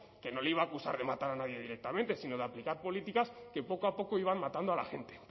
que no le iba a acusar de matar a nadie directamente sino de aplicar políticas que poco a poco iban matando a la gente